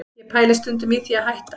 Ég pæli stundum í því að hætta